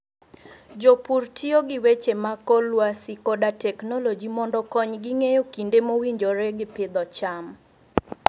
Jopur tiyo gi weche mag kor lwasi koda teknoloji mondo okonygi ng'eyo kinde mowinjore gi pidho cham.